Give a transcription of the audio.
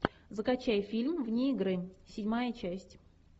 закачай фильм вне игры седьмая часть